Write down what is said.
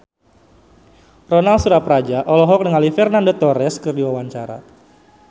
Ronal Surapradja olohok ningali Fernando Torres keur diwawancara